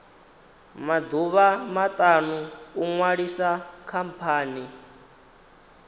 maḓuvha maṱanu u ṅwalisa khamphani